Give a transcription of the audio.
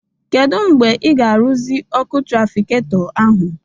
Kedụ mgbe ị ga aruzi ọkụ trafikato ahụ?